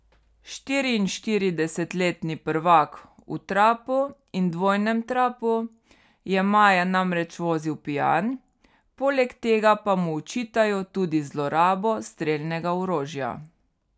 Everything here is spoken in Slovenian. Štiriinštiridesetletni prvak v trapu in dvojnem trapu je maja namreč vozil pijan, poleg tega pa mu očitajo tudi zlorabo strelnega orožja.